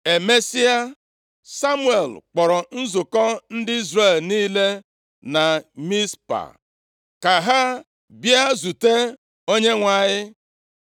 Emesịa, Samuel kpọrọ nzukọ ndị Izrel niile na Mizpa, + 10:17 Oge ọbụla ndị Izrel nwere ihe dị mkpa ha ga atule, ọ bụ nʼobodo Mizpa ka ha na-ezukọta \+xt Nkp 20:2; 21:1; 1Sa 7:5-6\+xt* ka ha bịa zute Onyenwe anyị.